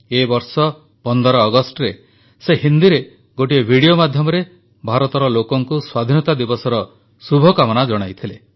ଏ ବର୍ଷ 15 ଅଗଷ୍ଟରେ ସେ ହିନ୍ଦୀରେ ଗୋଟିଏ ଭିଡିଓ ମାଧ୍ୟମରେ ଭାରତର ଲୋକଙ୍କୁ ସ୍ୱାଧୀନତା ଦିବସର ଶୁଭକାମନା ଜଣାଇଥିଲେ